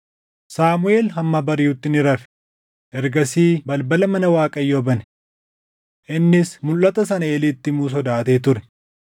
Saamuʼeel hamma bariʼutti ni rafe; ergasii balbala mana Waaqayyoo bane. Innis mulʼata sana Eeliitti himuu sodaatee ture.